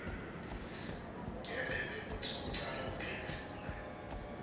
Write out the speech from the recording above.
ngembikwekutsi ucale kuphendvula